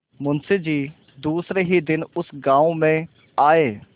मुँशी जी दूसरे ही दिन उस गॉँव में आये